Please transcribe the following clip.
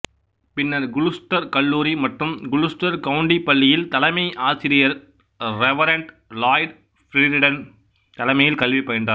பின்னர் குளுஸ்டர் கல்லூரி மற்றும் குளுஸ்டர் கவுண்டி பள்ளியில் தலைமையாசிரியர் ரெவரன்ட் லாய்டு பிரிரிடன் தலைமையில் கல்வி பயின்றார்